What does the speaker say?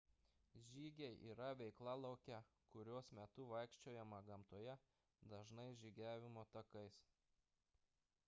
žygiai yra veikla lauke kurios metu vaikščiojama gamtoje dažnai žygiavimo takais